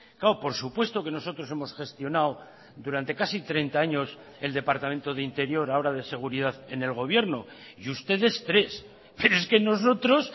claro por supuesto que nosotros hemos gestionado durante casi treinta años el departamento de interior ahora de seguridad en el gobierno y ustedes tres pero es que nosotros